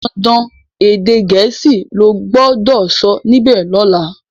dandan èdè Gèésì lo gbó dó sọ níbè lola!